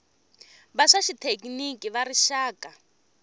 va swa xithekiniki va rixaka